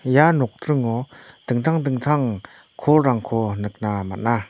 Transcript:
ia nokdringo dingtang dingtang kolrangko nikna man·a.